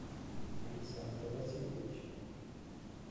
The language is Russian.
александра васильевича